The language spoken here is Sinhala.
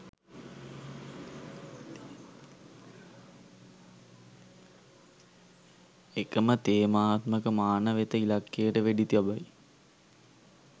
එකම තේමාත්මක මාන වෙත ඉලක්කයට වෙඩි තබයි